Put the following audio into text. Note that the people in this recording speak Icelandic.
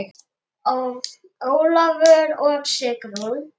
Ólafur og Sigrún.